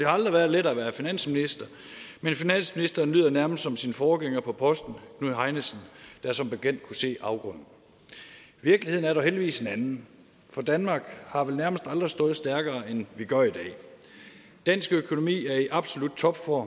aldrig været lettere at være finansminister men finansministeren lyder nærmest som sin forgænger på posten knud heinesen der som bekendt kunne se afgrunden virkeligheden er dog heldigvis en anden for danmark har vel nærmest aldrig stået stærkere end vi gør i dag dansk økonomi er i absolut topform